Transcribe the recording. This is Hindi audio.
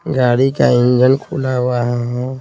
गाड़ी का इंजन खुला हुआ है।